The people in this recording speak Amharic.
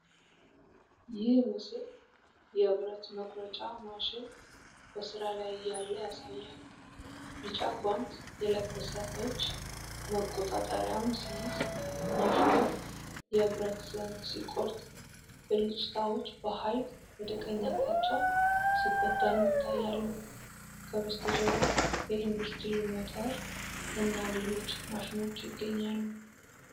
ይህ ምስል የብረት መቁረጫ ማሽን በሥራ ላይ እያለ ያሳያል። ቢጫ ጓንት የለበሰ እጅ መቆጣጠሪያውን ሲይዝ፣ ማሽኑ የብረት ዘንግ ሲቆርጥ ብልጭታዎች በኃይል ወደ ቀኝ አቅጣጫ ሲበተኑ ይታያሉ። ከበስተጀርባው የኢንዱስትሪ ሞተር እና ሌሎች ማሽኖች ይገኛሉ።